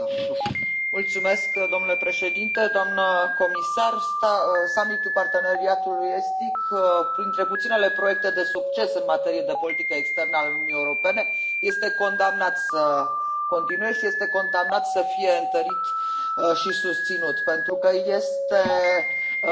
Domnule președinte, doamnă comisar, summitul Parteneriatului Estic, printre puținele proiecte de succes în materie de politică externă ale Uniunii Europene este condamnat să continue și este condamnat să fie întărit și susținut pentru că este obligatoriu ca